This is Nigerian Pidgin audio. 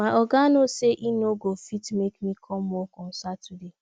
my oga no say he no go fit make me come work on saturday